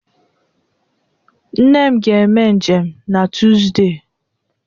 Nne m ga-eme njem n'Tuzdee.